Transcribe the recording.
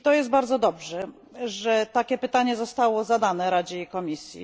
Bardzo dobrze, że takie pytanie zostało zadane Radzie i Komisji.